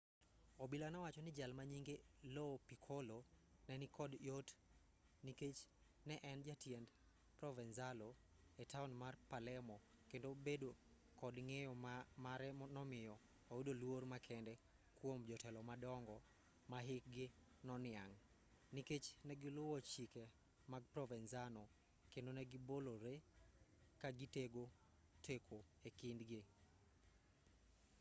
obila nowacho ni jal manyinge lo piccolo nenikod yot nikech ne en jatiend provenzalo etaon mar palermo kendo bedo kod ng'eyo mare nomiyo oyudo luor makende kuom jotelo madongo mahikgi noniang' nikech negiluwo chike mag provenzano kendo negibolore kagitego teko ekind gi